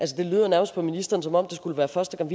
det lyder nærmest på ministeren som om det skulle være første gang